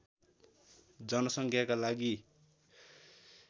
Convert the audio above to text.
जनसङ्ख्याका लागि